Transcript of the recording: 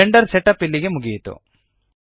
Blender setup ಇಲ್ಲಿಗೆ ಮುಗಿಯಿತು